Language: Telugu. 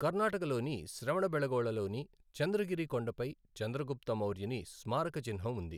కర్ణాటకలోని శ్రావణబెళగొళలోని చంద్రగిరి కొండపై చంద్రగుప్త మౌర్యుని స్మారక చిహ్నం ఉంది.